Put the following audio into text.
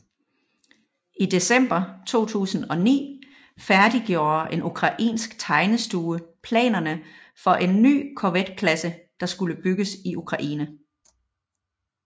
I december 2009 færdiggjorde en ukrainsk tegnestue planerne for en ny korvetklasse der skulle bygges i Ukraine